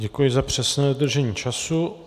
Děkuji za přesné dodržení času.